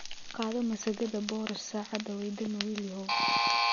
Qaado masagada boorash saada wey damee wilyahow